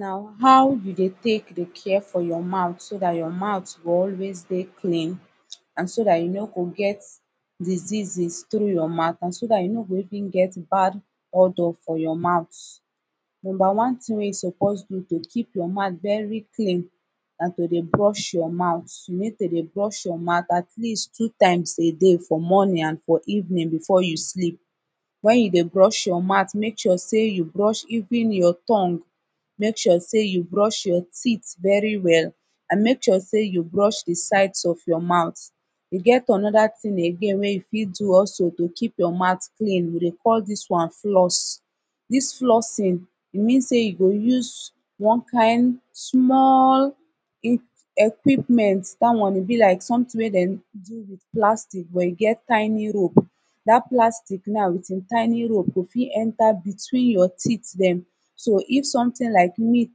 na how you de tek de care fo your mouth so dat your mouth go always dey clean and so dat you no go get diseases tru your mouth and so dat you no go even get bad odour fo yur mouth numba one tin wey yu supose do to kip your mouth veri clean na to de brush your mouth you nid to de brush yur mouth at least two taimes a day fo morning an fo evenin befor yu slip wen yu de brush yur mouth mek sure sey yu brush even yur tongue mek sure sey yu brush even your teeth veri well an mek sure sey yu brush de sides of yur mouth e get anoda tin again wey you fit do also to kip your mouth clean we dey cal dis one floss dis flossing e mean sey you go use one kin small in equipment dat one e bi lik somtin wey dem do wit plastik but e get tiny rope dat plastik now wit em tiny rope now go fit enta betwin your teeth dem so if somtin lik meat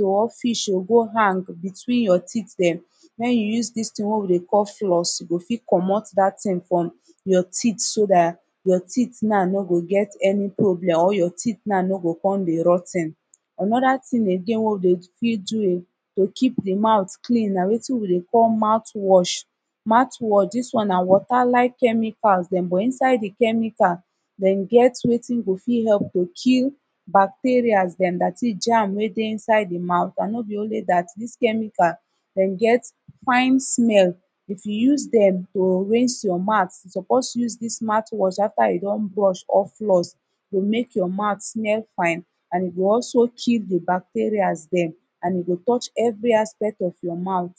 o or fish o go hang betwin yur teeth dem mek you use diz tin wey de call floss e go fit comot dat tin frum yur teet so dat yur teeth now no go get ani problem or your teet now no go com de rot ten anoda tin again wey wi de fit do again to kip de mouth clean na wetin we de call mouth wash mouth wash dis one na wata like chemical dem but inside de chemical dem get wetin go fit help to kill bacteria dem dirty gems wey de inside de mouth an no bi onli dat dis chemical dem get fine smell if you use dem to rinse yur mouth you suppose use dis mouth wash afta yu don brush all flos to mek yur mouth smel fine an e de also kill de bacterias dem an e go touch evri aspect of yur mouth